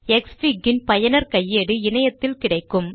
க்ஸ்ஃபிக் ன் பயனர் கையேடு இணையத்தில் கிடைக்கும்